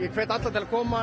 hvet alla til að koma